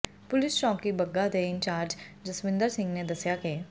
police ਚੌਕੀ ਬੱਗਾ ਦੇ incharge Jaswinder Singh ਨੇ ਦੱਸਿਆ ਕਿ